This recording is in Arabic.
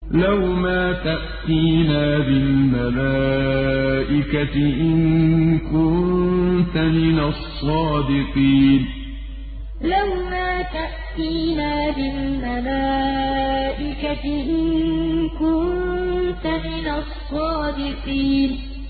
لَّوْ مَا تَأْتِينَا بِالْمَلَائِكَةِ إِن كُنتَ مِنَ الصَّادِقِينَ لَّوْ مَا تَأْتِينَا بِالْمَلَائِكَةِ إِن كُنتَ مِنَ الصَّادِقِينَ